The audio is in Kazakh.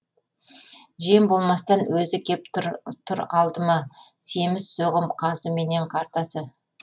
жем болмастан өзі кеп тұр тұр алдыма семіз соғым қазы менен қартасы